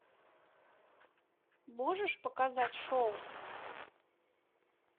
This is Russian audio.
можешь показать шоу